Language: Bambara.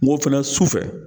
N ko fɛnɛ su fɛ